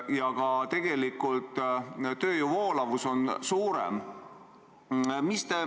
Ja ka tööjõu voolavus on suurem.